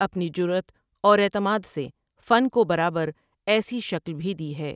اپنی جرأت اور اعتماد سے فن کو برابر ایسی شکل بھی دی ہے ۔